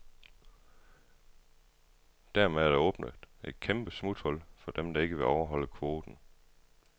Dermed er der åbnet et kæmpe smuthul for dem, der ikke vil overholde kvoten.